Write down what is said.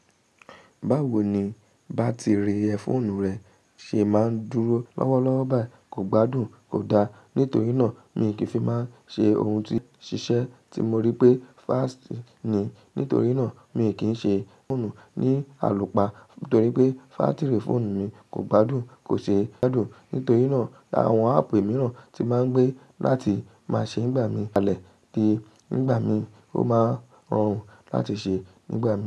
Báwo ni bátìrì ẹ́ fóònù rẹ ṣe máa ń dúró lọ́wọ́lọ́wọ́ ba i kò gbádùn kò da. Nítorí náà mi kì í fi máa ń ṣe ohun tí ṣiṣẹ́ tí mo rí pé fast ni. Nítorí náà mi kì í ṣe fóònù ní àlùpá nítorí pé bátìrì fóònù mi kò gbádùn kò ṣe é gbádùn. Nítorí náà àwọn áàpù mìíràn tí máa ń gbé láti máa ṣe nígbà mí kalẹ̀ kí nígbà mí ó máa rọrùn láti ṣe nígbà mí.